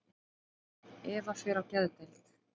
Eva fer á geðdeild.